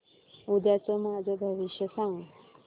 उद्याचं माझं भविष्य सांग